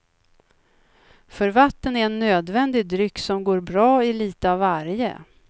För vatten är en nödvändig dryck som går bra i litet av varje.